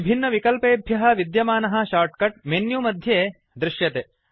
विभिन्नविकल्पेभ्य विद्यमानः shortcut menu मध्ये दृश्यते